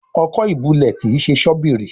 Ọkọ́ ìbulẹ̀ kín ṣe Ṣọ́bìrì